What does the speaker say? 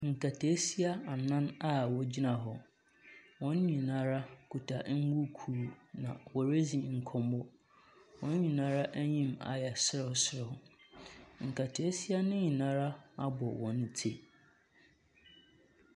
Nketeesia anan a wɔgyina hɔ. Wɔn nyinaa kuta mbuku na woredzi nkɔmmɔ. Wɔn nyinaa anim ayɛ serewserew. Nketeesia no nyinaa abɔ wɔn ti.